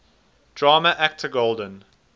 drama actor golden